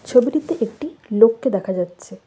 ছবিটিতে একটি লোককে দেখা যাচ্ছে।